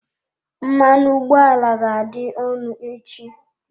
Mmanụ ụgbọ ala ga-adị ọnụ echi.